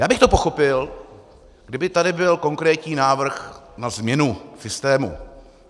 Já bych to pochopil, kdyby tady byl konkrétní návrh na změnu systému.